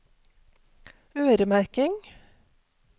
øremerking